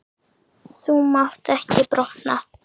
Þú mátt ekki brotna.